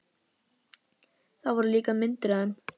Það voru líka myndir af þeim.